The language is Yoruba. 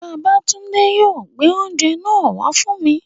Babátúndé yóò gbé oúnjẹ náà wá fún mi